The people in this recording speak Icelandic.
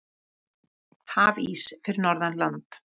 Hafís fyrir norðan land